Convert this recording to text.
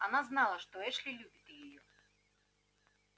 она знала что эшли любит её